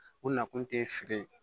U na kun te feere ye